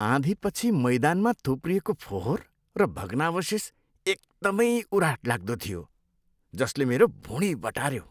आँधीपछि मैदानमा थुप्रिएको फोहोर र भग्नावशेष एकदमै उराठ लाग्दो थियो, जसले मेरो भुँडी बटार्यो।